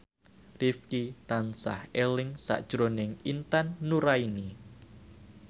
Rifqi tansah eling sakjroning Intan Nuraini